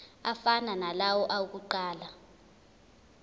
afana nalawo awokuqala